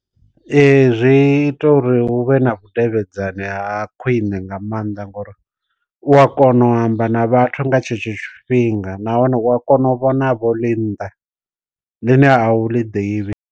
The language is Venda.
Ee zwi ita uri hu vhe na vhudavhidzani ha khwine nga maanḓa ngori, u a kona u amba na vhathu nga tshetsho tshifhinga, nahone u a kona u vhona vho ḽi nnḓa ḽine a u ḽi ḓivhi.